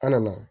An nana